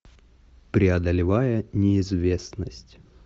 преодолевая неизвестность